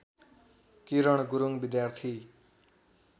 किरण गुरुङ विद्यार्थी